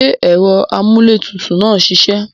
Ṣé ẹ̀rọ amúlétutù náà ń ṣiṣẹ́?